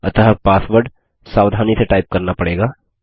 अतः पासवर्ड सावधानी से टाइप करना पड़ेगा